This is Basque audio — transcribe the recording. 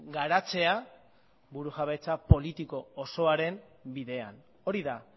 garatzea burujabetza politiko osoaren bidean hori da